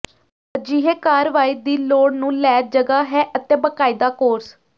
ਅਜਿਹੇ ਕਾਰਵਾਈ ਦੀ ਲੋੜ ਨੂੰ ਲੈ ਜਗ੍ਹਾ ਹੈ ਅਤੇ ਬਾਕਾਇਦਾ ਕੋਰਸ